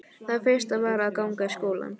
Það versta var að ganga í skólann.